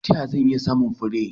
Ta yaya zan iya samun fure?